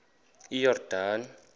iyordane